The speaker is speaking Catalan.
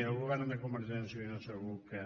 i el govern de convergència i unió segur que